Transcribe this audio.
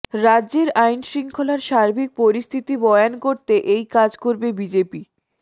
রাজ্যের আইনশৃঙ্খলার সার্বিক পরিস্থিতি বয়ান করতে এই কাজ করবে বিজেপি